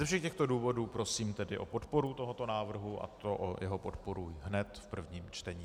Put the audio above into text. Ze všech těchto důvodů prosím tedy o podporu tohoto návrhu a to o jeho podporu hned v prvním čtení.